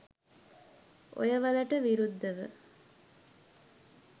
ඔයවලට විරුද්ධව